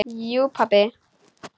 Jú pabbi.